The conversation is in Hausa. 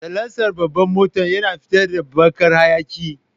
Salansan babbar motan yana fitar da baƙar hayaƙi.